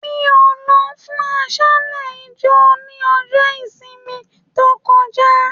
Mí o lọ fún aṣálẹ ijo ni ọjọ ìsinmi to kọjá.